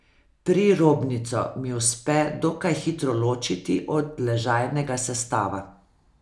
Prirobnico mi uspe dokaj hitro ločiti od ležajnega sestava.